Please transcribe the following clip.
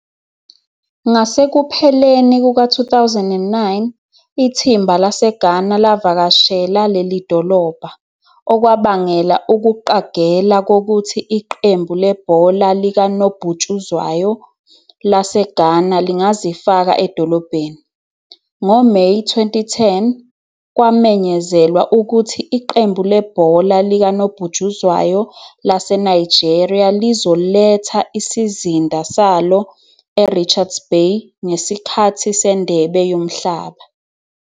Ngasekupheleni kuka-2009, ithimba laseGhana lavakashela leli dolobha, okwabangela ukuqagela kokuthi Iqembu lebhola likanobhutshuzwayo laseGhana lingazifaka edolobheni. NgoMeyi 2010, kwamenyezelwa ukuthi Iqembu lebhola likanobhutshuzwayo laseNigeria lizoletha isizinda salo eRichards Bay ngesikhathi seNdebe Yomhlaba.